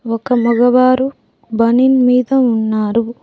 ఒక మగవారు బనిన్ మీద ఉన్నారు.